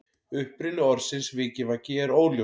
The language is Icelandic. Uppruni orðsins vikivaki er óljós.